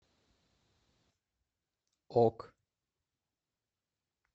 ок